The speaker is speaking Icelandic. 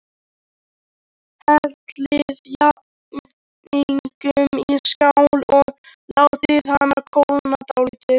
Hellið jafningnum í skál og látið hann kólna dálítið.